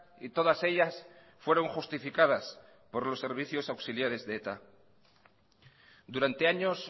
y todas ellas fueron justificadas por los servicios auxiliares de eta durante años